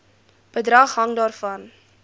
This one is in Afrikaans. bedrag hang daarvan